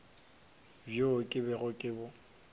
bjo ke bego ke bo